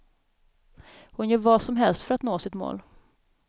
Hon gör vad som helst för att nå sitt mål.